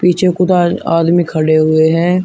पीछे आदमी खड़े हुए हैं।